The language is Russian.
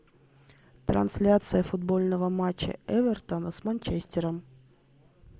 трансляция футбольного матча эвертона с манчестером